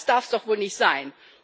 Das darf doch wohl nicht sein!